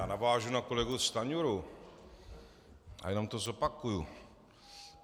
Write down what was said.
Já navážu na kolegu Stanjuru a jenom to zopakuju.